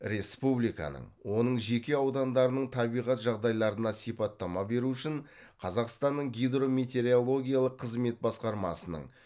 республиканың оның жеке аудандарының табиғат жағдайларына сипаттама беру үшін қазақстанның гидрометеорологиялық қызмет басқармасының